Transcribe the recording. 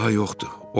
Sal daha yoxdur.